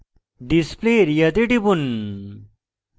display area তে টিপুন